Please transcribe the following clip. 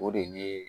O de ye